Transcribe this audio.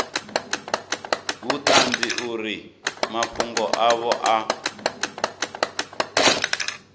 vhuṱanzi uri mafhungo avho a